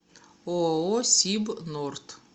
ооо сибнорд